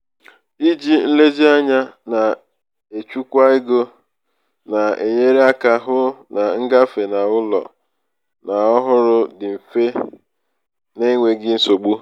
iji nlezianya na-echukwa ego na-enyere aka hụ na ngafe n'ụlọ ñ ọhụrụ dị mfe na mfe na enweghị nsogbu.